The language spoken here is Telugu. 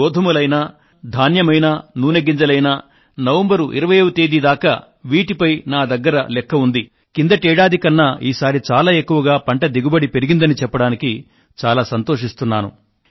గోధుమలైనా ధాన్యమైనా నూనె గింజలైనా నవంబరు 20వ తేదీ దాకా వీటిపై నా దగ్గర లెక్క ఉంది కిందటి ఏడాది కన్నా ఈసారి చాలా ఎక్కుగా పంట దిగుబడి పెరిగిందని చెప్పడానికి చాలా సంతోషిస్తున్నాను